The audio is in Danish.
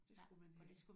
Det skulle man have